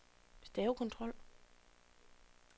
stavekontrol